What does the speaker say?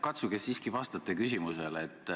Katsuge siiski vastata küsimusele.